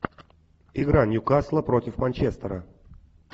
игра ньюкасла против манчестера